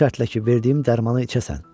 Bu şərtlə ki, verdiyim dərmanı içəsən.